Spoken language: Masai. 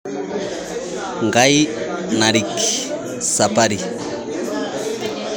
Ngai naarik sapari